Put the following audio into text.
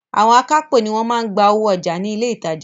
Àwọn akápò ni wọ́n máa ń gba owó ọjà ní ilé ìtajà.